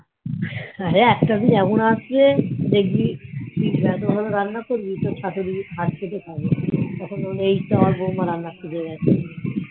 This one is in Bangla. দেখবি তুই এত ভালো রান্না করবি তোর শাশুড়ি হাত চেটে খাবে তখন বলবে এইতো আমার বৌমা রান্না শিখে গাছে